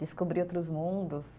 Descobrir outros mundos.